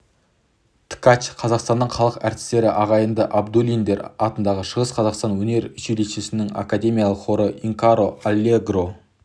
ткач қазақстанның халық әртістері ағайынды абдуллиндер атындағы шығыс қазақстан өнер училищесінің академиялық хоры инкоро аллегро